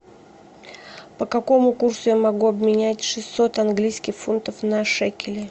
по какому курсу я могу обменять шестьсот английских фунтов на шекели